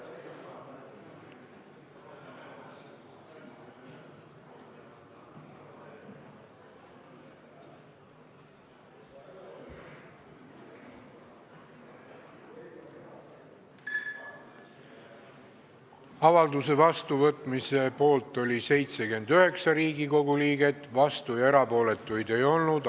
Hääletustulemused Avalduse vastuvõtmise poolt oli 79 Riigikogu liiget, vastuolijaid ega erapooletuid ei olnud.